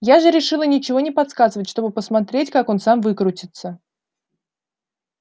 я же решила ничего не подсказывать чтобы посмотреть как он сам выкрутится